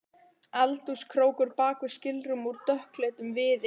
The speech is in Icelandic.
Eldhúskrókur bak við skilrúm úr dökkleitum viði.